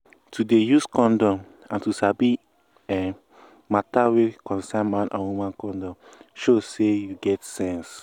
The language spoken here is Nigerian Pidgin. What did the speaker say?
to dey use condom and to sabi[um]matter wey concern man and woman condom show say you get sense